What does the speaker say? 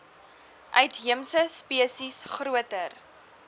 uitheemse spesies groter